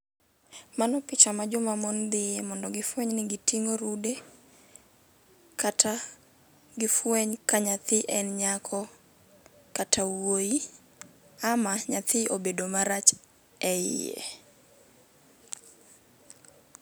Mano picha ma joma mon dhiye mondo gifweny ni giting'o rude. Kata gifweny ka nyathi en nyako kata wuoyi, ama nyathi obedo marach e iye.